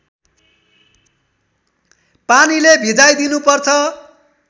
पानीले भिजाइ दिनुपर्छ